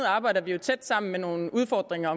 arbejder jo tæt sammen andet nogle udfordringer